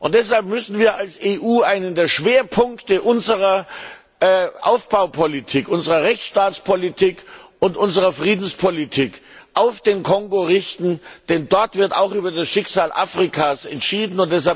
Deshalb müssen wir als EU einen der Schwerpunkte unserer Aufbaupolitik, unserer Rechtsstaatspolitik und unsere Friedenspolitik auf den Kongo richten, denn dort wird auch über das Schicksal Afrikas entschieden.